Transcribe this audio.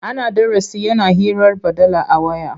Ana darasi yana hirar baɗala a waya.